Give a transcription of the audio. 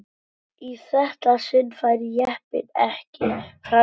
Í þetta sinn færi jeppinn ekki fram hjá.